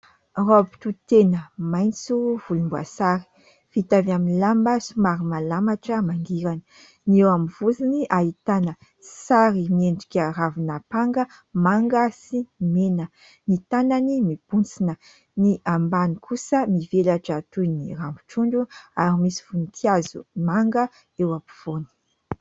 Raoby tohy tena maitso volomboasary, vita avy amin'ny lamba somary malamatra mangirana. Ny eo amin'ny vozony ahitana sary miendrika ravin'ampanga manga sy mena. Ny tanany mibontsina ny ambany kosa mivelatra toy ny rambon-trondro ary misy voninkazo manga eo ampovoany